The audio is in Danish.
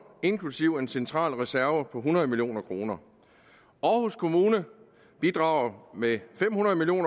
inklusive en central reserve på hundrede million kroner aarhus kommune bidrager med fem hundrede million